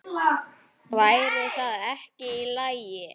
Væri það ekki í lagi?